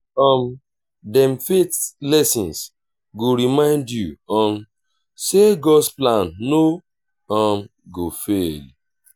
um dem faith lessons go remind yu um say god’s plan no um go fail.